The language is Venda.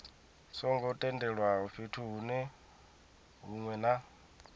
songo tendelwaho fhethu hunwe na